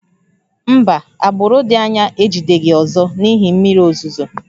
Mba, agbụrụ dị anya ejideghị ọzọ n'ihi mmiri ozuzo